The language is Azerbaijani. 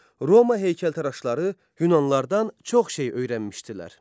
Roma heykəltaraşları yunanlardan çox şey öyrənmişdilər.